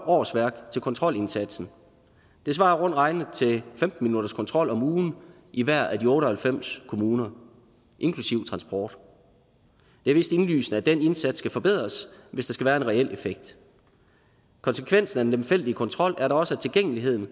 årsværk til kontrolindsatsen det svarer rundt regnet til femten minutters kontrol om ugen i hver af de otte og halvfems kommuner inklusive transport det er vist indlysende at den indsats skal forbedres hvis der skal være en reel effekt konsekvensen af den lemfældige kontrol er da også at tilgængeligheden